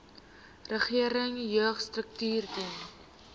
regering jeugstrukture dien